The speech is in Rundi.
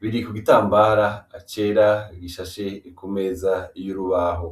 biri ku gitambara cera gishashe kumeza y'urubaho.